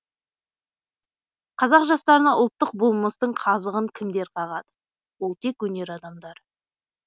қазақ жастарына ұлттық болмыстың қазығын кімдер қағады ол тек өнер адамдары